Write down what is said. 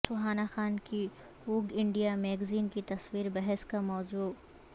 سہانا خان کی Vogue India magazine کی تصویر بحث کا موضوع